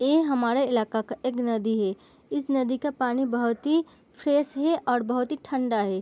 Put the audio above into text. ये हमारा इलाका का एक नदी है इस नदी का पानी बहुत ही फ्रेश है और बहुत ही ठंडा है।